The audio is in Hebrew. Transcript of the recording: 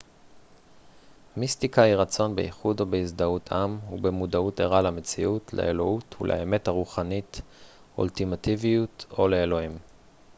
מיסטיקה היא רצון באיחוד או בהזדהות עם ובמודעות ערה למציאות לאלוהות ולאמת הרוחנית אולטימטיביות או לאלוהים